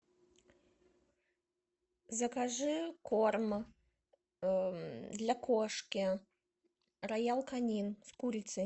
закажи корм для кошки роял канин с курицей